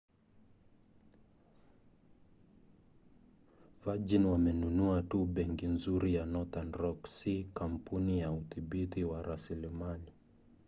virgin wamenunua tu 'benki nzuri' ya northern rock si kampuni ya udhibiti wa rasilimali